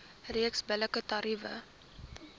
reeks billike tariewe